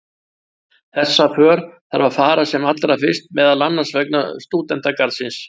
Þessa för þarf að fara sem allra fyrst meðal annars vegna stúdentagarðsins.